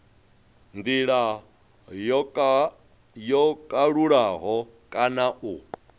ndila yo kalulaho kana u